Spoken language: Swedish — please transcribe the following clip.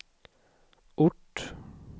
ort